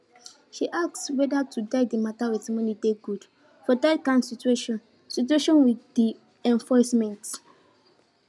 she ask whether to die de mata with monie dey good for dat kin situation situation with de enforcement